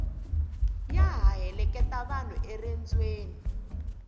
ya ha heleketa vanhu eriendzweni